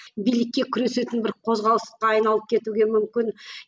билікке күресетін бір қозғалысқа айналып кетуге мүмкін